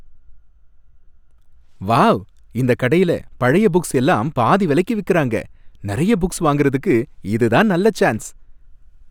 Wow! இந்த கடைல பழைய புக்ஸ் எல்லாம் பாதி விலைக்கு விக்குறாங்க, நிறைய புக்ஸ் வாங்குறதுக்கு இதுதான் நல்ல சான்ஸ்.